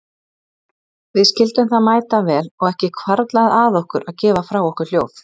Við skildum það mætavel og ekki hvarflaði að okkur að gefa frá okkur hljóð.